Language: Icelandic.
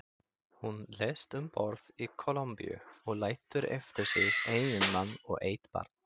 Hún lést um borð í Kólumbíu og lætur eftir sig eiginmann og eitt barn.